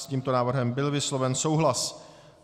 S tímto návrhem byl vysloven souhlas.